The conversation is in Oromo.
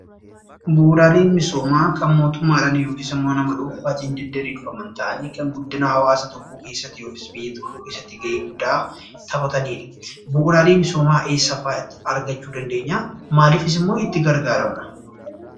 Bu'uuraaleen misoomaa kan mootummaadhaan yookiis ammoo nama dhuunfaatiin diddiriirfaman ta'anii kan guddina hawaasa tokkoo keessatti yookiis biyya tokkoo keessatti gahee guddaa taphataniidha. Bu'uuraalee misoomaa eessa fa'atti ergachuun dandeenyaa? Maaliifis immoo itti gargaaramna?